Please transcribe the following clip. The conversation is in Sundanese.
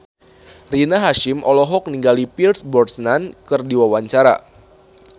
Rina Hasyim olohok ningali Pierce Brosnan keur diwawancara